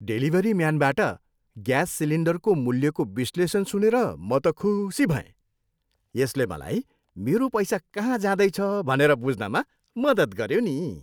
Delivery म्यानबाट gas सिलिन्डरको मूल्यको विश्लेषण सुनेर म त खुसी भएँ। यसले मलाई मेरो पैसा कहाँ जाँदैछ भनेर बुझ्नमा मद्दत गऱ्यो नि।